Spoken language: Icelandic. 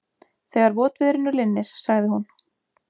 Þegar votviðrinu linnir, sagði hún.